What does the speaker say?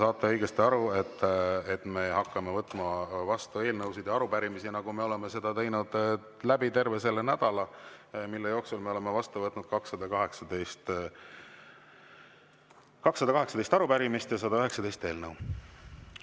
Te saate õigesti aru, et me hakkame võtma vastu eelnõusid ja arupärimisi, nagu me oleme seda teinud terve selle nädala, mille jooksul me oleme vastu võtnud 218 arupärimist ja 119 eelnõu.